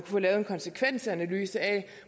få lavet en konsekvensanalyse af